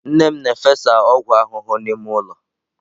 Nne m na-efesa ọgwụ ahụhụ n'ime ụlọ.